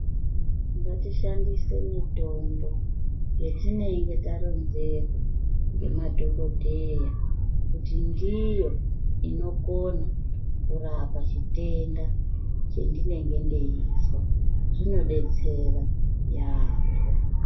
Ngatishandise mitombo yetinenge taronzerwa ngemadhokodheya kuti ndiyo inokona kurapa chitenda chandinenge ndeizwa zvinodetsera yaamho.